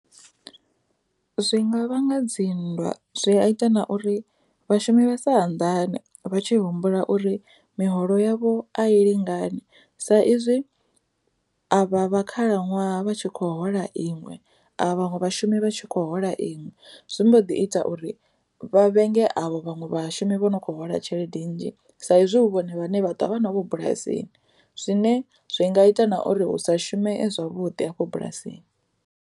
Zwinga vhanga dzinndwa zwi a ita na uri vhashumi vha sa anḓani vha tshi humbula uri miholo yavho a i lingani sa izwi vha vha khalaṅwaha vha tshi khou hola iṅwe a vhaṅwe vhashumi vha tshi khou hola iṅwe. Zwi mbo ḓi ita uri vha vhenge avho vhaṅwe vhashumi vho no kho hola tshelede nnzhi sa izwi hu vhone vhane vha twa vha na vho bulasini zwine zwi nga ita na uri hu sa shume zwavhuḓi afho bulasini.